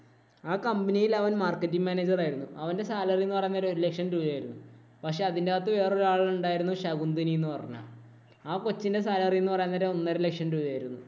ആ company യില്‍ അവന്‍ marketing, manager ആയിരുന്നു. അവന്‍റെ salary എന്ന് പറയുന്നത് ഒരു ഒരു ലക്ഷം രൂപയായിരുന്നു. പക്ഷേ, അതിനകത്ത് വേറെ ഒരു ആളുണ്ടായിരുന്നു ശകുന്തിനി എന്ന് പറയുന്നയാള്. ആ കൊച്ചിന്‍റെ salary എന്ന് പറയുന്നത് ഒരു ഒന്നര ലക്ഷം രൂപയായിരുന്നു.